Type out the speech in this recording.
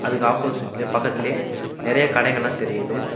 அதுக்கு ஆப்போசிட்லையே பக்கத்திலேயே நறைய கடைங்கலா தெரியுது.